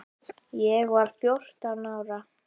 Ég var fjórtán ára.